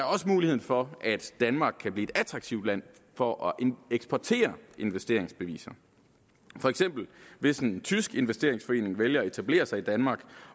også muligheden for at danmark kan blive et attraktivt land for at eksportere investeringsbeviser for eksempel hvis en tysk investeringsforening vælger at etablere sig i danmark